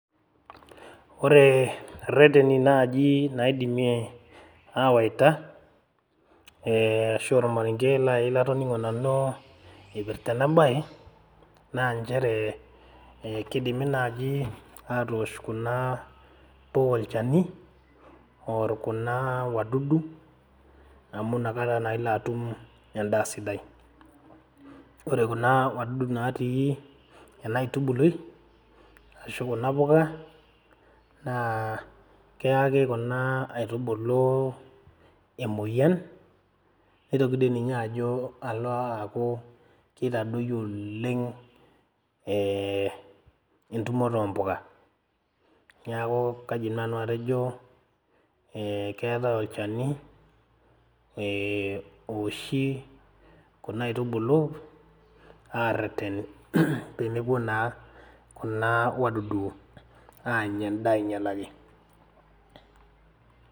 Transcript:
Ore irreteni naaji naidimi awaita eh ashu ormarenge naaji latoning'o nanu ipirrta ena baye naa nchere eh kidimi naaji atoosh kuna puka olchani orr kuna wadudu amu inakata naa ilo atum endaa sidai ore kuna wadudu natii ena aitubului ashu kuna puka naa keyaki kuna aitubulu emoyian neitoki doi ninye ajo alo aaku keitadoyio oleng eh entumoto ompuka niaku kaidim nanu atejo eh keetae olchani eh owoshi kuna aitubulu areten pee mepuo naa kuna wadudu aanya endaa ainyialaki.